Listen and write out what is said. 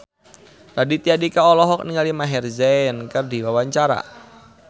Raditya Dika olohok ningali Maher Zein keur diwawancara